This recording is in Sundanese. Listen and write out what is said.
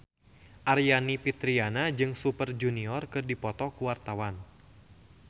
Aryani Fitriana jeung Super Junior keur dipoto ku wartawan